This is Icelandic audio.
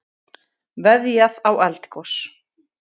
Veðjað á eldgos